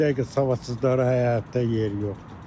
Bu dəqiqə savadsızlara həyatda yer yoxdur.